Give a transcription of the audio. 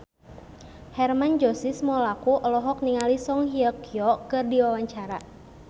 Hermann Josis Mokalu olohok ningali Song Hye Kyo keur diwawancara